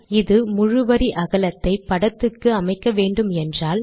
இது முழு வரி அகலத்தை படத்துக்கு அமைக்க வேன்டும் என்றால்